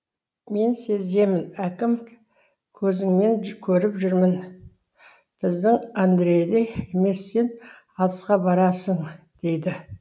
мен сеземін аким көзіңнен көріп жүрмін біздің андрейдей емес сен алысқа барасың дейді